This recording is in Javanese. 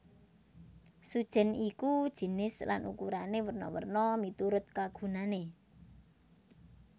Sujèn iku jinis lan ukurané werna werna miturut kagunané